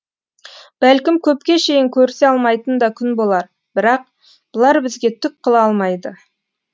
бәлкім көпке шейін көрісе алмайтын да күн болар бірақ бұлар бізге түк қыла алмайды